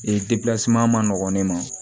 Ee ma nɔgɔn ne ma